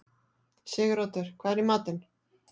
Siguroddur, hvað er í matinn?